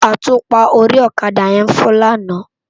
Átúpá óri òkadá yèn fò làná